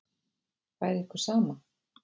Væri ykkur sama?